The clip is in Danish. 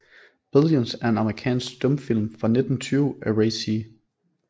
Billions er en amerikansk stumfilm fra 1920 af Ray C